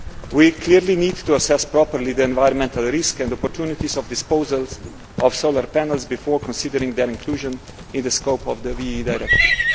We clearly need to assess properly the environmental risks and opportunities of the disposal of solar panels before considering their inclusion in the scope of the WEEE directive.